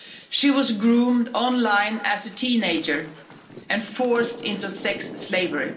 She was groomed online as a teenager and forced into sex slavery.